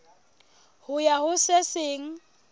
ho ya ho se seng